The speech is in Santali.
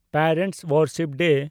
parents worship day